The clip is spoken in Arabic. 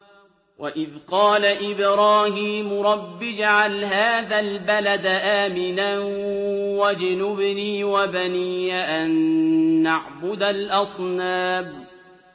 وَإِذْ قَالَ إِبْرَاهِيمُ رَبِّ اجْعَلْ هَٰذَا الْبَلَدَ آمِنًا وَاجْنُبْنِي وَبَنِيَّ أَن نَّعْبُدَ الْأَصْنَامَ